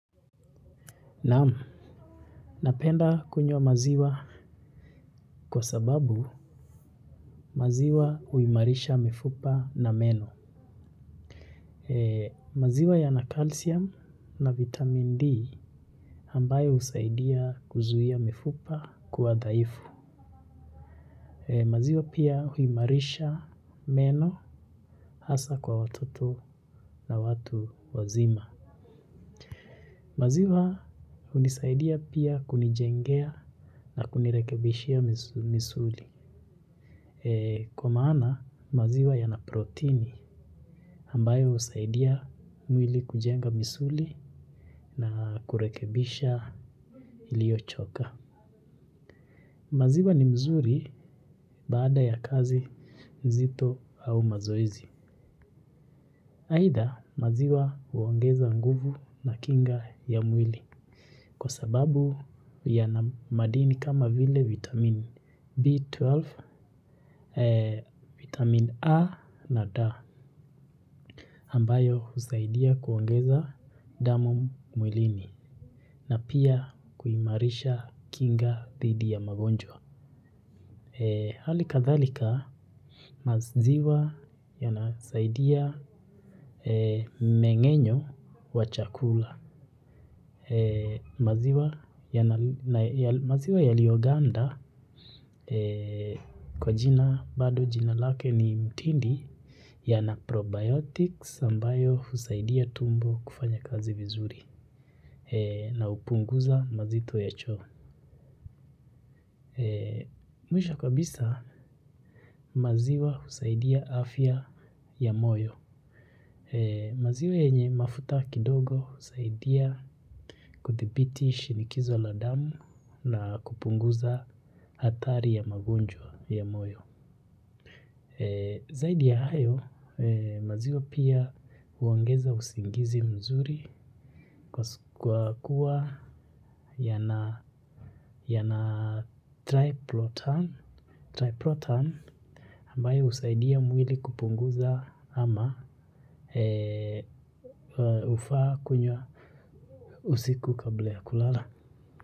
Naam napenda kunywa maziwa kwa sababu maziwa huimarisha mifupa na meno. Maziwa yana calcium na vitamin D ambayo husaidia kuzuia mifupa kuwa dhaifu. Maziwa pia huimarisha meno hasa kwa watoto na watu wazima. Maziwa hunisaidia pia kunijengea na kunirekebishia misu misuli. Kwa maana maziwa yana protini ambayo husaidia mwili kujenga misuli na kurekebisha iliyochoka. Maziwa ni mzuri baada ya kazi nzito au mazoezi. Aidha maziwa huongeza nguvu na kinga ya mwili. Kwa sababu yana madini kama vile vitamin B12, vitamin A na D. Ambayo husaidia kuongeza damu mwilini na pia kuimarisha kinga dhidi ya magonjwa. Halikadhalika maziwa yanasaidia mengenyo wa chakula. Maziwa yaliyoganda kwa jina bado jina lake ni mtindi yana probiotics ambayo husaidia tumbo kufanya kazi vizuri. Na hupunguza mazito ya choo. Mwisho kabisa maziwa husaidia afya ya moyo. Maziwa yenye mafuta kidogo husaidia kudhibiti shinikizo la damu na kupunguza hatari ya magonjwa ya moyo. Zaidi ya hayo maziwa pia huongeza usingizi mzuri kwas kwa kuwa yana yana triplotan triplotan ambayo husaidia mwili kupunguza ama hufaa kunywa usiku kabla ya kulala.